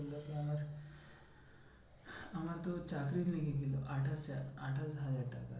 আমার আমার তো চাকরি লেগেছিলো আঠাশ আঠাশ হাজার টাকা